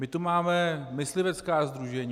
My tu máme myslivecká sdružení.